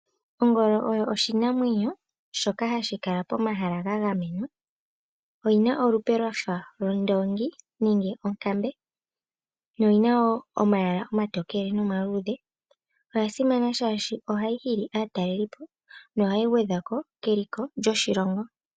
Ongolo oyo oshinamwenyo shoka hashikala pomahala ga gamenwa. Oyina olupe lwafa londoongi nenge onkambe noyina wo omayala omatokele nomaluudhe. Oya simana shaashi ohayi hili aatalelipo nohayi gwedhako keliko lyoshilongo.